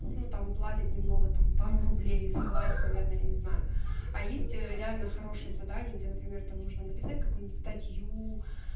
ну там платят немного там пару рублей заплатит наверное я не знаю а есть реально хорошие задание где например там нужно написать какую-нибудь статью